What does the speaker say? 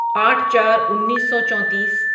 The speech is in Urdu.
آٹھ چار انیسو چونتیس